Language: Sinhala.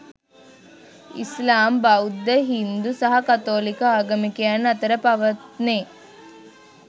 ඉස්ලාම්, බෞද්ධ, හින්දු සහ කතෝලික ආගමිකයන් අතර පවත්නේ